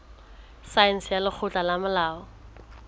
saense ya lekgotleng la molao